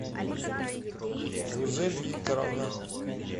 гузель викторовна